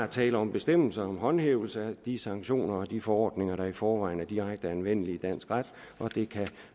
tale om bestemmelser om håndhævelse af de sanktioner og de forordninger der i forvejen er direkte anvendelige i dansk ret og det kan